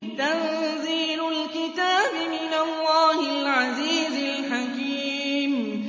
تَنزِيلُ الْكِتَابِ مِنَ اللَّهِ الْعَزِيزِ الْحَكِيمِ